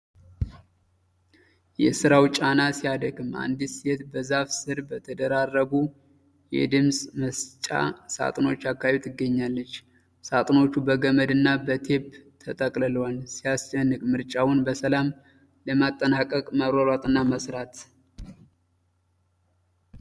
የሥራው ጫና ሲያደክም! አንዲት ሴት በዛፍ ሥር በተደራረቡ የድምፅ መስጫ ሣጥኖች አካባቢ ትገኛለች። ሣጥኖቹ በገመድና በቴፕ ተጠቅልለዋል። ሲያስጨንቅ! ምርጫውን በሰላም ለማጠናቀቅ መሯሯጥና መሥራት!